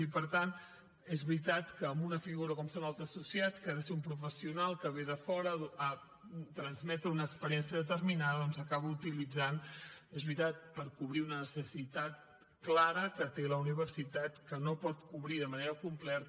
i per tant és veritat que una figura com són els associats que ha de ser un professional que ve de fora a transmetre una experiència determinada doncs s’acaba utilitzant és veritat per cobrir una necessitat clara que té la universitat que no pot cobrir de manera completa